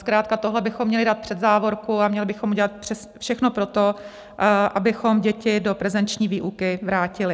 Zkrátka tohle bychom měli dát před závorku a měli bychom udělat všechno pro to, abychom děti do prezenční výuky vrátili.